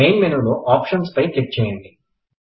main మెనులో options పై click చేయండి